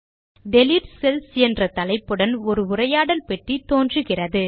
delete cells என்ற தலைப்புடன் ஒரு உரையாடல் பெட்டி தோன்றும்